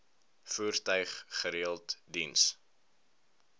voertuig gereeld diens